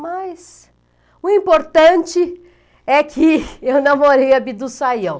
Mas, o importante é que eu namorei a Bidu Sayão.